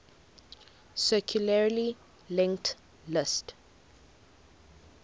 circularly linked list